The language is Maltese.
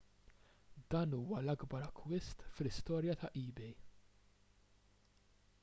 dan huwa l-akbar akkwist fl-istorja ta' ebay